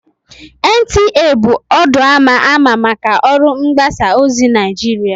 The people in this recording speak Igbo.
NTA bụ ọdụ ama ama maka ọrụ mgbasa ozi Naịjirịa